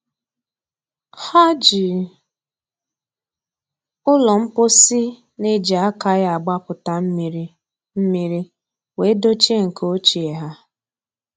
Ha ji ụlọ mposi na-eji aka ya agbapụta mmiri mmiri wee dochie nke ochie ha.